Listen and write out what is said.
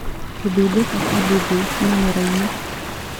Gũthundũka Kwa bubils mĩmera-inĩ